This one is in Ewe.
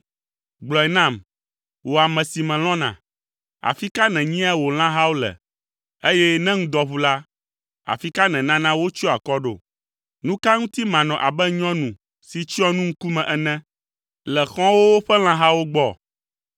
Gblɔe nam, wò ame si melɔ̃na, afi ka nènyia wò lãhawo le, eye ne ŋdɔ ʋu la, afi ka nènana wotsyɔa akɔ ɖo? Nu ka ŋuti manɔ abe nyɔnu si tsyɔ nu ŋkume ene le xɔ̃wòwo ƒe lãhawo gbɔ?